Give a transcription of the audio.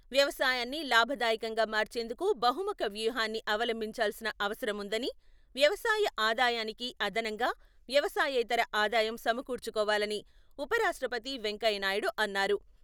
వ్యవసాయాన్ని లాభదాయకంగా మార్చేందుకు బహుముఖ వ్యూహాన్ని అవలంభించాల్సిన అవసరం ఉందని, వ్యవసాయ ఆదాయానికి అదనంగా వ్యవసాయేతర ఆదాయం సమకూర్చుకోవాలని ఉపరాష్ట్రపతి వెంకయ్యనాయుడు అన్నారు.